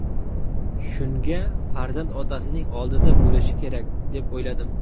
Shunga farzand otasining oldida bo‘lishi kerak, deb o‘yladim.